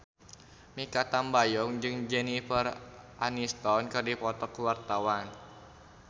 Mikha Tambayong jeung Jennifer Aniston keur dipoto ku wartawan